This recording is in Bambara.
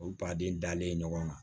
O baden dalen ɲɔgɔn kan